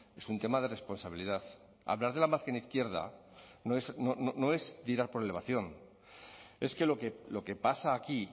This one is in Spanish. es un tema de responsabilidad hablar de la margen izquierda no es tirar por elevación es que lo que pasa aquí